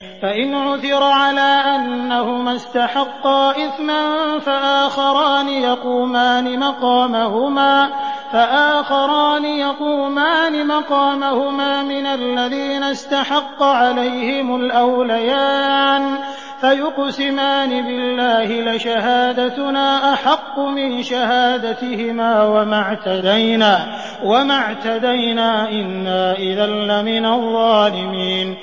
فَإِنْ عُثِرَ عَلَىٰ أَنَّهُمَا اسْتَحَقَّا إِثْمًا فَآخَرَانِ يَقُومَانِ مَقَامَهُمَا مِنَ الَّذِينَ اسْتَحَقَّ عَلَيْهِمُ الْأَوْلَيَانِ فَيُقْسِمَانِ بِاللَّهِ لَشَهَادَتُنَا أَحَقُّ مِن شَهَادَتِهِمَا وَمَا اعْتَدَيْنَا إِنَّا إِذًا لَّمِنَ الظَّالِمِينَ